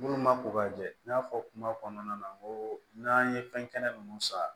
Minnu ma ko ka jɛ n y'a fɔ kuma kɔnɔna na n ko n'an ye fɛn kɛnɛ ninnu san